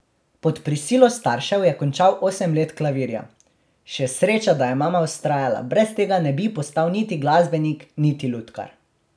Pod prisilo staršev je končal osem let klavirja: 'Še sreča, da je mama vztrajala, brez tega ne bi postal niti glasbenik niti lutkar.